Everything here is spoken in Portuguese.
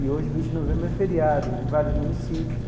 E hoje, vinte de novembro, é feriado em vários municípios.